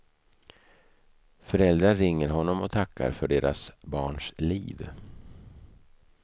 Föräldrar ringer honom och tackar för deras barns liv.